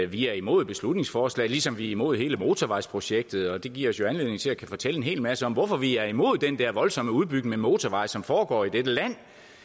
vi er imod beslutningsforslaget ligesom vi er imod hele motorvejsprojektet det giver os jo anledning til at fortælle en hel masse om hvorfor vi er imod den der voldsomme udbygning af motorveje som foregår i dette land